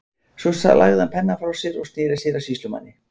Svo lagði hann pennann frá sér og sneri sér að sýslumanni.